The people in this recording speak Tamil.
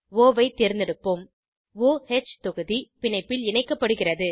ஒ ஐ தேர்ந்தெடுக்கவும் o ஹ் தொகுதி பிணைப்பில் இணைக்கப்படுகிறது